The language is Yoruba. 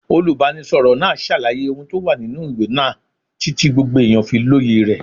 Olùbánisọ̀rọ̀ náà ṣàlàyé ohun tó wà nínú ìwé náà títí gbogbo èèyàn fi lóye rẹ̀.